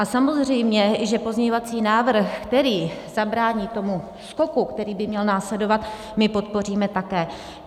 A samozřejmě že pozměňovací návrh, který zabrání tomu skoku, který by měl následovat, my podpoříme také.